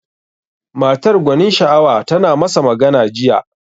Matar gwanin sha'awa tana masa magana jiya.